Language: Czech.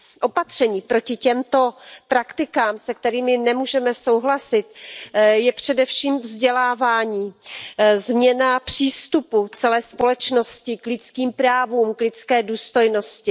Opatřením proti těmto praktikám, se kterými nemůžeme souhlasit, je především vzdělávání, změna přístupu celé společnosti k lidským právům, k lidské důstojnosti.